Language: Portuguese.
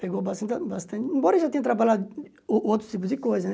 Pegou bastante bastante... Embora ele já tenha trabalhado o outros tipos de coisa, né?